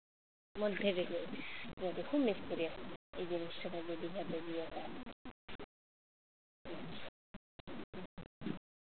মধ্যে গেঁথে আছে খুব miss করি এখন গিয়ে দিঘাতে গিয়ে